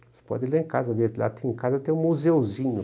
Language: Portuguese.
Você pode ir lá em casa ver, lá em casa tem um museuzinho.